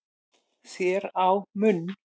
þér á munn